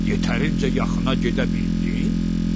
Yetərincə yaxına gedə bildin?